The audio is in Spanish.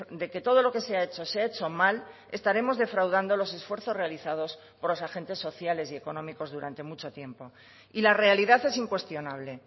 de que todo lo que se ha hecho se ha hecho mal estaremos defraudando los esfuerzos realizados por los agentes sociales y económicos durante mucho tiempo y la realidad es incuestionable